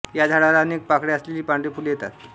या झाडाला अनेक पाकळ्या असलेली पांढरी फुले येतात